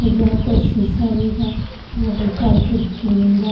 John ओकर शीशा भी बा ऊ हल्का-हल्का ग्रीन बा।